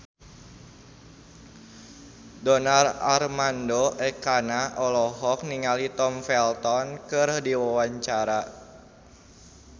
Donar Armando Ekana olohok ningali Tom Felton keur diwawancara